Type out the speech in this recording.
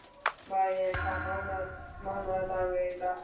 Míríel, hvaða mánaðardagur er í dag?